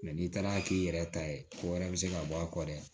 n'i taara k'i yɛrɛ ta ye ko wɛrɛ bɛ se ka bɔ a kɔrɔ dɛ